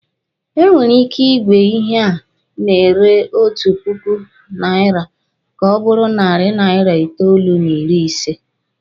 E nwere ike ị gwe ihe a na-ere otu puku naira ka ọ bụrụ narị naira itoolu n'ịrị ise